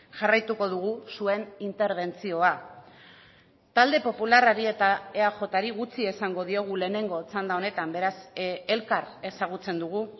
jarraituko dugu zuen interbentzioa talde popularrari eta eajri gutxi esango diogu lehenengo txanda honetan beraz elkar ezagutzen dugu